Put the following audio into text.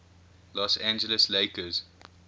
los angeles lakers